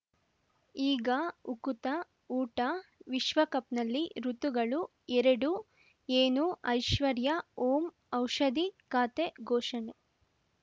ಈಗ ಉಕುತ ಊಟ ವಿಶ್ವಕಪ್‌ನಲ್ಲಿ ಋತುಗಳು ಎರಡು ಏನು ಐಶ್ವರ್ಯಾ ಓಂ ಔಷಧಿ ಖಾತೆ ಘೋಷಣೆ